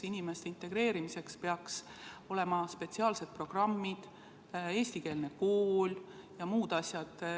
Inimeste integreerimiseks peaks olema spetsiaalsed programmid, eestikeelne kool ja muud asjad.